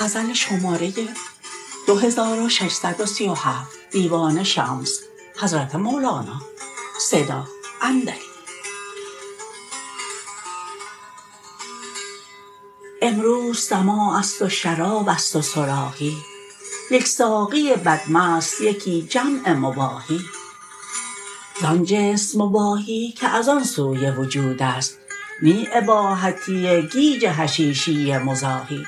امروز سماع است و شراب است و صراحی یک ساقی بدمست یکی جمع مباحی زان جنس مباحی که از آن سوی وجود است نی اباحتی گیج حشیشی مزاحی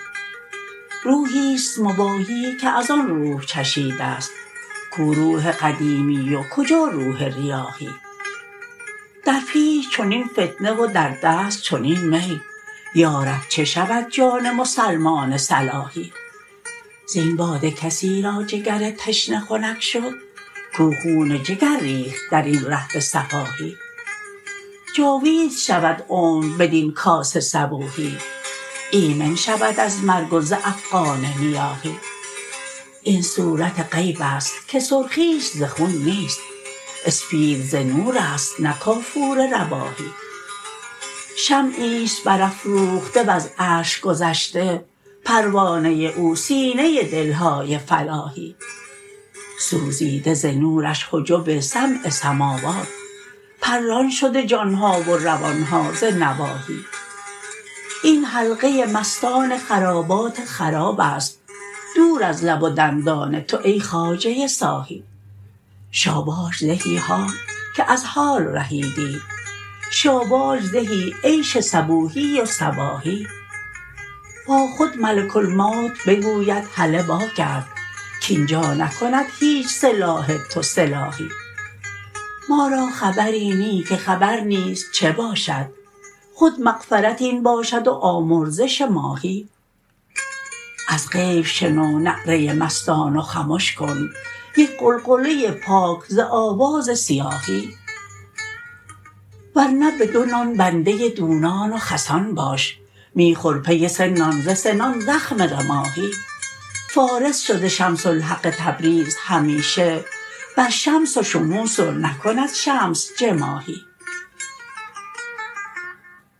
روحی است مباحی که از آن روح چشیده ست کو روح قدیمی و کجا روح ریاحی در پیش چنین فتنه و در دست چنین می یا رب چه شود جان مسلمان صلاحی زین باده کسی را جگر تشنه خنک شد کو خون جگر ریخت در این ره به سفاحی جاوید شود عمر بدین کاس صبوحی ایمن شود از مرگ و ز افغان نیاحی این صورت غیب است که سرخیش ز خون نیست اسپید ز نور است نه کافور رباحی شمعی است برافروخته وز عرش گذشته پروانه او سینه دل های فلاحی سوزیده ز نورش حجب سبع سماوات پران شده جان ها و روان ها ز نواحی این حلقه مستان خرابات خراب است دور از لب و دندان تو ای خواجه صاحی شاباش زهی حال که از حال رهیدیت شاباش زهی عیش صبوحی و صباحی با خود ملک الموت بگوید هله واگرد کاین جا نکند هیچ سلاح تو سلاحی ما را خبری نی که خبر نیز چه باشد خود مغفرت این باشد و آمرزش ماحی از غیب شنو نعره مستان و خمش کن یک غلغله پاک ز آواز صیاحی ور نه بدو نان بنده دونان و خسان باش می خور پی سه نان ز سنان زخم رماحی فارس شده شمس الحق تبریز همیشه بر شمس شموس و نکند شمس جماحی